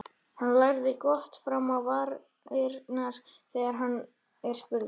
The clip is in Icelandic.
Hann læðir glotti fram á varirnar þegar hann er spurður.